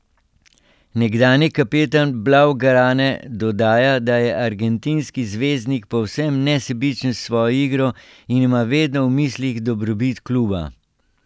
Nekdanji kapetan blaugrane dodaja, da je argentinski zvezdnik povsem nesebičen s svojo igro in ima vedno v mislih dobrobit kluba.